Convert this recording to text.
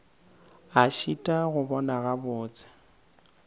a šitwa go bona gabotse